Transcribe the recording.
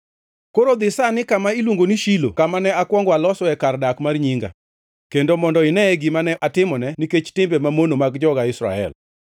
“ ‘Koro dhi sani kama iluongo ni Shilo kama ne akwongo alosoe kar dak mar Nyinga, kendo mondo ine gima ne atimone nikech timbe mamono mag joga Israel.